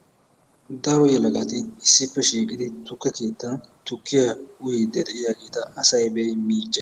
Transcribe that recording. Daro yelagatti issippe shiiqidi tukke keettan tukkiya uyiidi de'iyaageta asay be'i miiccee.